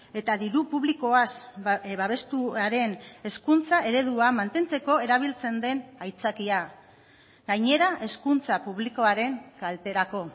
eta diru publikoaz babestuaren hezkuntza eredua mantentzeko erabiltzen den aitzakia gainera hezkuntza publikoaren kalterako